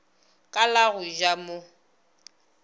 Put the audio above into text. ka la go ja mo